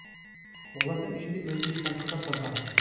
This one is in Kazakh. олардың ішінде өзбекстандықтар да бар